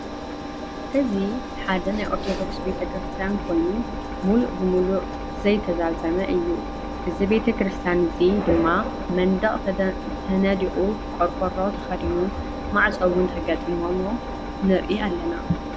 እዚ ሓደ ናይ ኦርተደኩስ ቤተክርስትያን ኮይኑ ሙሉ ብሙሉእ ዘይተዛዘመ እዩ። እዚ ቤተክርስትያን እዚ ድማ መንደቅ ተነዲቁ ቆርቆሮ ተከዱኑ ማዕፆ እውን ተገጢምዎ ንርኢ ኣለና።